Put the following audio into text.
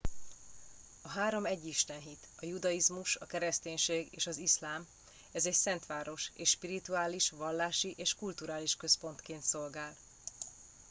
a három egyistenhit a judaizmus a kereszténység és az iszlám ez egy szent város és spirituális vallási és kulturális központként szolgál